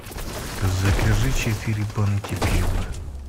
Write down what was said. закажи четыре банки пива